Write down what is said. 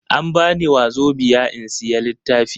An bani Wazobiya in sayi littafi.